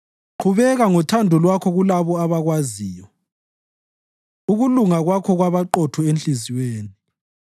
Qhubeka ngothando Lwakho kulabo abakwaziyo, ukuluga Kwakho kwabaqotho enhliziyweni.